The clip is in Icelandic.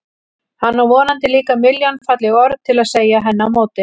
Hann á vonandi líka milljón falleg orð til að segja henni á móti.